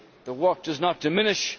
the work does not diminish.